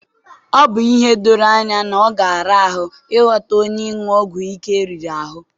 Ọ bụ ihe doro anya na ọ ga-ara ahụ ịgwọta onye ịṅụ ọgwụ ike riri ahụ.